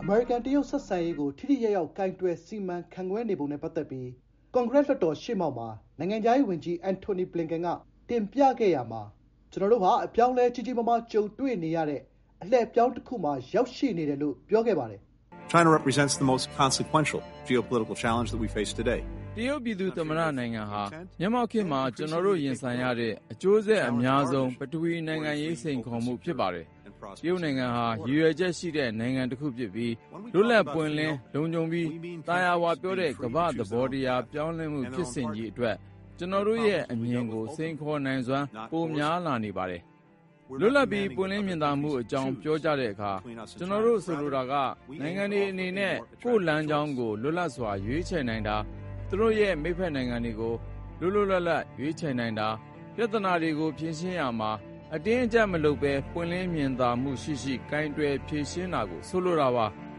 အမေရိကန်-တရုတ်ဆက်ဆံရေးကို ထိထိရောက်ရောက် ကိုင်တွယ် စီမံခန့်ခွဲနေပုံနဲ့ ပတ်သက်ပြီး ကွန်ဂရက်လွှတ်တော်ရှေ့မှောက်မှာ နိုင်ငံခြားရေးဝန်ကြီး အန်ထိုနီဘလင်ကန်က တင်ပြရာမှာ “ကျွန်တော်တို့ဟာ အပြောင်းအလဲကြီးကြီးမားမား ကြုံတွေ့နေရတဲ့ အလှည့်အပြောင်းတခုမှာ ရောက်ရှိနေတယ်” လို့ ပြောခဲ့ပါတယ်။ "တရုတ်ပြည်သူ့သမ္မတနိုင်ငံဟာ မျက်မှောက်ခေတ်မှာ ကျွန်တော်တို့ရင်ဆိုင်ရတဲ့အကျိုးဆက်အများဆုံး ပထဝီဝင်နိုင်ငံရေးစိန်ခေါ်မှုကို ဖြစ်ပါတယ်။ တရုတ်နိုင်ငံဟာ ရည်ရွယ်ချက်ရှိတဲ့ နိုင်ငံတခုဖြစ်ပြီး လွတ်လပ်ပွင့်လင်း၊ လုံခြုံပြီး သာယာဝပြောတဲ့ ကမ္ဘာ့သဘောတရား ပြောင်း လဲမှုဖြစ်စဉ်ကြီးအတွက် ကျွန်တော်တို့ရဲ့အမြင်ကို စိန်ခေါ်နိုင်စွမ်း ပိုများလာနေပါတယ်။" “‘လွတ်လပ်ပြီး ပွင့်လင်းမြင်သာမှု’ အကြောင်း ပြောကြတဲ့အခါ... ကျွန်တော်တို့ ဆိုလိုတာက နိုင်ငံတွေအနေနဲ့ ကိုယ့်လမ်းကြောင်းကို လွတ်လပ်စွာ ရွေးချယ်နိုင်တာ၊ သူတို့ရဲ့ မိတ်ဖက်နိုင်ငံတွေကို လွတ်လွတ်လပ်လပ် ရွေးချယ်နိုင်တာ... ပြဿနာတွေကို ဖြေရှင်းရာမှာ အတင်းအကျပ်မလုပ်ဘဲ ပွင့်လင်းမြင်သာ ရှိရှိ ကိုင်တွယ်ဖြေရှင်းတာကို ဆိုလိုတာပါ။”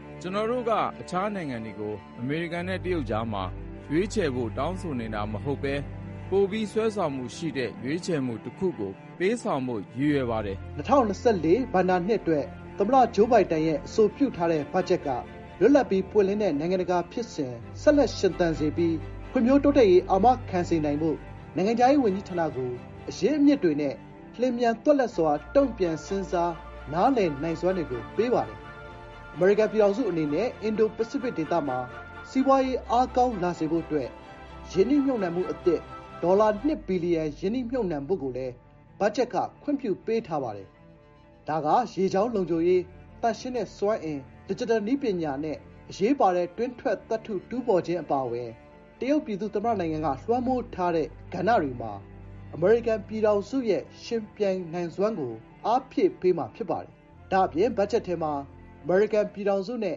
"ကျွန်တော်တို့က တခြားနိုင်ငံတွေကို အမေရိကန်နဲ့ တရုတ်ကြားမှာ' ရွေးချယ်' ဖို့ တောင်းဆိုနေ တာမဟုတ်ဘဲ ပိုပြီးဆွဲဆောင်မှုရှိတဲ့ ရွေးချယ်မှုတခုကို ပေးဆောင်ဖို့ ရည်ရွယ်ပါတယ်။" ၂၀၂၄ ဘဏ္ဍာနှစ်အတွက် သမ္မတဂျိုးဘိုင်ဒင်ရဲ့ အဆိုပြုထားတဲ့ ဘတ်ဂျက်ထဲမှာ လွတ်လပ်ပြီး ပွင့်လင်းတဲ့ နိုင်ငံတကာ ဖြစ်စဉ် ဆက်လက်ရှင်သန်စေပြီး ဖွံဖြိုးတိုးတက်ရေး အာမခံနိုင်စေဖို့ နိုင်ငံခြားရေးဝန်ကြီးဌာနကို အရင်းအမြစ်တွေနဲ့ လျင်မြန်သွက်လက်စွာ တုံ့ပြန် စဉ်းစားနားလည် နိုင်စွမ်းတွေကို ပေးပါတယ်။ အမေရိကန်ပြည်ထောင်စု အနေနဲ့ အင်ဒို-ပစိဖိတ် ဒေသမှာ စီးပွားရေး အားကောင်းလာစေ ဖို့အတွက် ရင်းနှီးမြှုပ်နှံမှုအသစ် ဒေါ်လာ ၂ ဘီလီယံ ရင်းနှီးမြှုပ်နှံဖို့လည်း ဘတ်ဂျက် ခွင့်ပြုထားပါတယ်။ ဒါက ရေကြောင်းလုံခြုံရေး၊ သန့်ရှင်းတဲ့စွမ်းအင်၊ ဒစ်ဂျစ်တယ်နည်းပညာနဲ့ အရေးပါတဲ့ တွင်းထွက်သတ္တုတူးဖော်ခြင်း အပါအဝင် တရုတ်ပြည်သူ့သမ္မတနိုင်ငံက လွှမ်းမိုးထားတဲ့ ကဏ္ဍတွေမှာ အမေရိကန်ရဲ့ ယှဉ်ပြိုင်နိုင်စွမ်းကို အားဖြည့်ပေးမှာ ဖြစ်ပါတယ်။ ဒါ့အပြင် ဘတ်ဂျက်ထဲမှာ အမေရိကန်ပြည်ထောင်စုနဲ့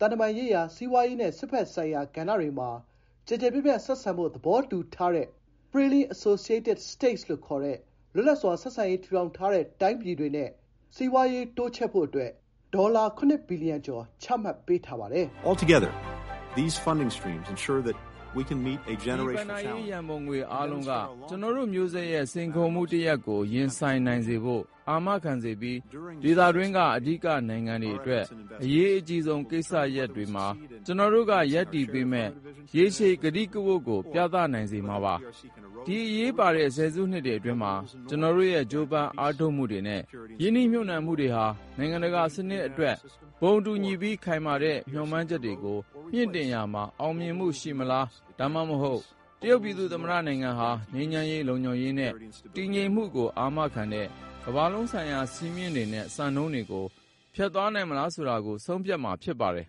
သံတမန်ရေးရာ၊ စီးပွားရေးနဲ့ စစ်ဘက်ဆိုင်ရာ ကဏ္ဍတွေမှာ ကျယ်ကျယ်ပြန့်ပြန့် ဆက်ဆံဖို့ သဘောတူထားတဲ့ Freely Associated States လို့ ခေါ်တဲ့ လွတ်လပ်စွာ ဆက်ဆံရေး ထူထောင်ထားတဲ့ တိုင်းပြည်တွေနဲ့ စီးပွားရေး တိုးချဲ့ဖို့ ဒေါ်လာ ၇ ဘီလီယံကျော် ပါဝင်ပါတယ်။ ဒီ ဘဏ္ဍာရေးရံပုံငွေ အားလုံးက ကျွန်တော်တို့ မျိုးဆက်ရဲ့ စိန်ခေါ်မှုတရပ်ကို ရင်ဆိုင်နိုင်စေဖို့ အာမခံစေပြီး ဒေသတွင်းက အဓိကနိုင်ငံတွေ အတွက် အရေးအကြီးဆုံး ကိစ္စရပ်တွေမှာ ကျွန်တော်တို့က ရပ်တည်ပေးမယ့် ရေရှည်ကတိကဝတ်ကို ပြသနိုင်စေမှာဖြစ်ပါတယ်။” “ဒီ အရေးပါတဲ့ ဆယ်စုနှစ်အတွင်းမှာ ကျွန်တော်တို့ရဲ့ ကြိုးပမ်းအားထုတ်မှုတွေနဲ့ ရင်းနှီးမြှုပ်နှံမှုတွေဟာ နိုင်ငံတကာစနစ်အတွက် ဘုံတူညီပြီး ခိုင်မာတဲ့ မျှော်မှန်းချက်တွေကို မြှင့်တင်ရာမှာ အောင်မြင်မှု ရှိမလား၊ ဒါမှမဟုတ် တရုတ်ပြည်သူ့သမ္မတနိုင်ငံဟာက ငြိမ်းချမ်းရေး၊ လုံခြုံရေးနဲ့ တည်ငြိမ်မှုကို အာမခံတဲ့ ကမ္ဘာလုံးဆိုင်ရာ စည်းမျဉ်းတွေနဲ့ စံနှုန်းတွေကို ဖျက်သွားနိုင်မလားကို ဆုံးဖြတ်မှာ ဖြစ်ပါတယ်